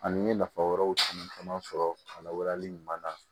Ani n ye nafa wɛrɛw caman caman sɔrɔ lawalali ɲuman na